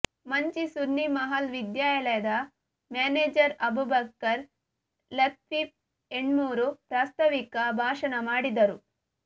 ಮಂಚಿ ಸುನ್ನೀ ಮಹಲ್ ವಿದ್ಯಾಲಯದ ಮ್ಯಾನೇಜರ್ ಅಬೂಬಕರ್ ಲತ್ವೀಫಿ ಎಣ್ಮೂರು ಪ್ರಾಸ್ತವಿಕ ಭಾಷಣ ಮಾಡಿದರು